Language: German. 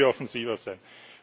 Da müssen wir offensiver sein!